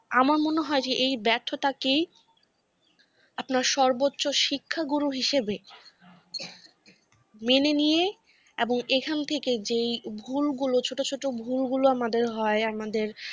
আমার মনে হয় যে এই ব্যর্থতা কেই। আপনার সর্বোচ্চ শিক্ষাগুরু হিসাবে, মেনে নিয়ে এবং এখান থেকে যে ভুল গুলো ছোট ছোট ভুল গুলো আমাদের হয় আমাদের